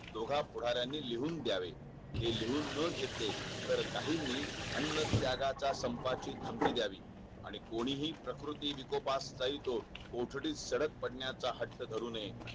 दोघं पुढाऱयांनी लिहून दयावे हे लिहून न घेतले तर काहींनी अन्न त्यागाचा संपाची धमकी द्यावी आणि कोणीही प्रकृती विकोपात जाई तो कोठडीत तडक पडण्याचा हट्ट धरू नये